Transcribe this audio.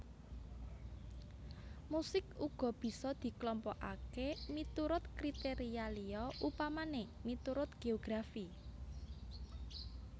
Musik uga bisa diklompokaké miturut kriteria liya upamané miturut geografi